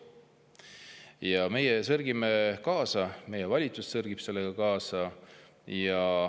Ja meie sörgime sellega kaasa, meie valitsus sörgib sellega kaasa.